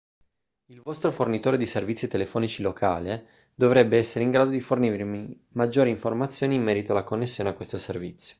il vostro fornitore di servizi telefonici locale dovrebbe essere in grado di fornirvi maggiori informazioni in merito alla connessione a questo servizio